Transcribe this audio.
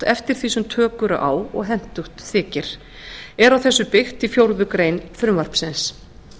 eftir því sem tök eru á og hentugt þykir er á þessu byggt í fjórða grein frumvarpsins